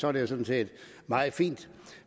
er det jo sådan set meget fint